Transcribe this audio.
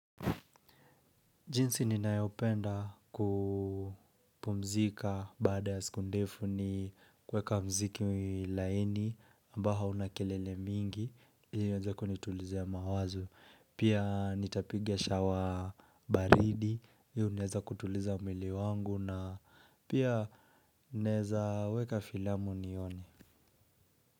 Jinsi ninayopenda kupumzika baada ya siku ndefu ni kuweka mziki laini ambao una kelele mingi ili iweze kunitulizia mawazo Pia nitapiga shawa baridi, hilo inaweza kutuliza mwili wangu na pia ninaweza weka filamu nione.